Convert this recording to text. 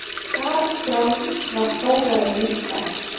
París sjálf var sóðaleg líka.